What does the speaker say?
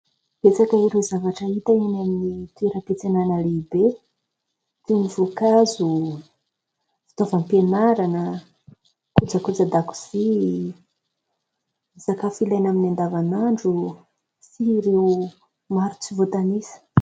Betsaka ireo zavatra hita eny amin'ny toeram-piantsenana lehibe toy ny voankazo, fitaovam-pianarana, kojakojan-dakozia, sakafo ilaina amin'ny andavanandro sy ireo maro tsy voatanisa.